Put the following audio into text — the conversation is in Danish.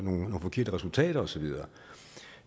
forkerte resultater og så videre